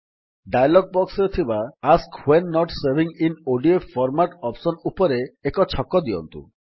dialog ବକ୍ସରେ ଥିବା ask when not saving in ODF format option ଉପରେ ଏକ ଛକ ଦିଅନ୍ତୁ